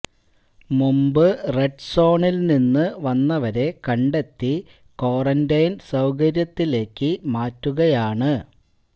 മുമ്പ് റെഡ് സോണിൽ നിന്ന് വന്നവരെ കണ്ടെത്തി ക്വാറന്റൈൻ സൌകര്യത്തിലേക്ക് മാറ്റുകയാണ്